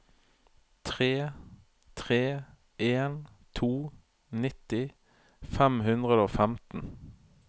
tre tre en to nitti fem hundre og femten